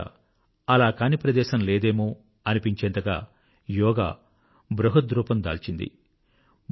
బహుశా అలా కాని ప్రదేశం లేదేమో అనిపించేంతగా యోగా బృహద్రూపం దాల్చింది